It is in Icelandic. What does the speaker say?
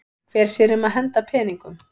Hver sér um að henda peningum?